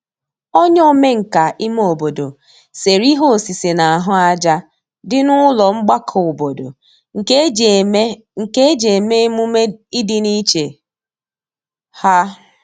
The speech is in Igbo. onye omenka ime obodo sere ihe osise n'ahu aja di n'ulo mgbako obodo nke eji eme nke eji eme -emume idi n'iche ha